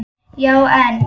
Já, en